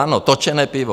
Ano, točené pivo.